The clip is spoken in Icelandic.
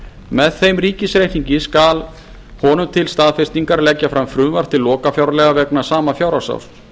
með þeim ríkisreikningi skal honum til staðfestingar leggja fram frumvarp til lokafjárlaga vegna sama fjárhagsárs